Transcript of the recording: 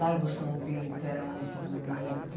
Largo São Binto era muito bonito.